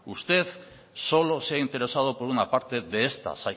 usted solo se ha interesado por una parte de estas